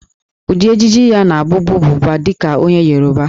Ụdị ejiji ya na-abụbu Buba dị ka onye Yoruba